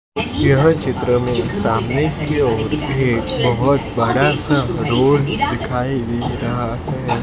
यह चित्र में सामने की ओर एक बहोत बड़ा सा रोड दिखाई दे रहा है।